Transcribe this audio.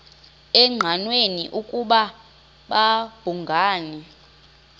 engqanweni ukuba babhungani